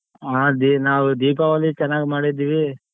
ಹಾ ದಿ~ ನಾವು ದೀಪಾವಳಿ ಚೆನ್ನಾಗ್ ಮಾಡಿದ್ದೀವಿ.